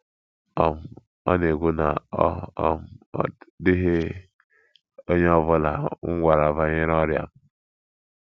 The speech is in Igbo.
um Ọ na-ekwu na, "Ọ um dịghị onye ọ bụla m gwara banyere ọrịa m, ”